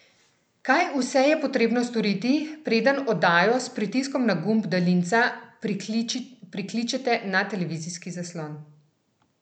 Kaj vse je potrebno storiti, preden oddajo s pritiskom na gumb daljinca prikličete na televizijski zaslon?